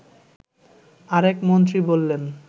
আরেক মন্ত্রী বললেন